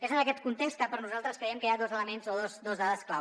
és en aquest context que nosaltres creiem que hi ha dos elements o dos dades clau